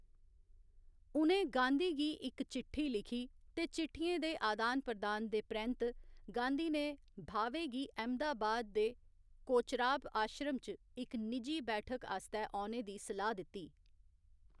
उ'नें गांधी गी इक चिट्ठी लिखी ते चिट्ठियें दे आदान प्रदान दे परैंत्त, गांधी ने भावे गी अहमदाबाद दे कोचराब आश्रम च इक निजी बैठक आस्तै औने दी सलाह्‌‌ दित्ती।